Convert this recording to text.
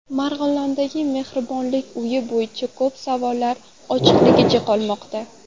Marg‘ilondagi mehribonlik uyi bo‘yicha ko‘p savollar ochiqligicha qolmoqda.